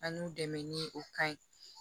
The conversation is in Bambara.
An n'u dɛmɛ ni o kan ye